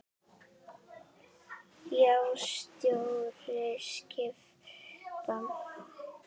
Nýja stjórn skipa.